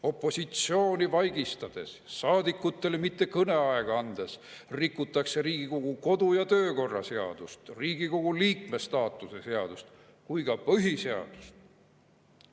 Opositsiooni vaigistades, saadikutele mitte kõneaega andes rikutakse nii Riigikogu kodu‑ ja töökorra seadust, Riigikogu liikme staatuse seadust kui ka põhiseadust."